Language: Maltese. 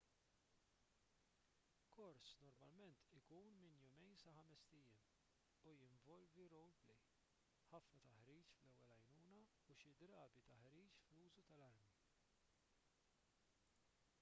kors normalment ikun minn 2-5 ijiem u jinvolvi role play ħafna taħriġ fl-ewwel għajnuna u xi drabi taħriġ fl-użu tal-armi